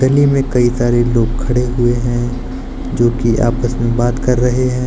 में कई सारे लोग खड़े हुए हैं जो कि आपस में बात कर रहे हैं।